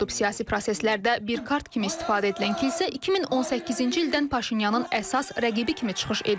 Siyasi proseslərdə bir kart kimi istifadə edilən kilsə 2018-ci ildən Paşinyanın əsas rəqibi kimi çıxış edir.